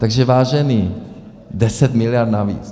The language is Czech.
Takže vážení, 10 mld. navíc!